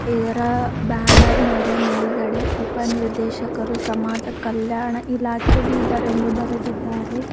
ಇದರ ಬ್ಯಾನರ್ ಮೇಲೆ ಮೇಲ್ಗಡೆ ಉಪ ನಿರ್ದೇಶಕರು ಸಮಾಜ ಕಲ್ಯಾಣ ಇಲಾಖೆ ಬೀದರ್ ಎಂದು ಬರೆದಿದ್ದಾರೆ.